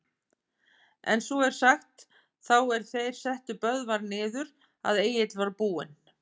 En svo er sagt, þá er þeir settu Böðvar niður, að Egill var búinn